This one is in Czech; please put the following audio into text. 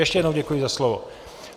Ještě jednou děkuji za slovo.